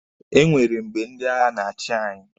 E nwere mgbe ndi agha na-achi anyị.